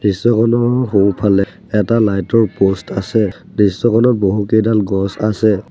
দৃশ্যখনৰ সোঁফালে এটা লাইট ৰ প'ষ্ট আছে দৃশ্যখনত বহুকেইডাল গছ আছে।